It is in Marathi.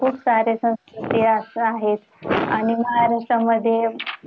खुप सारे ते असं आहेत आणि महाराष्ट्रामध्ये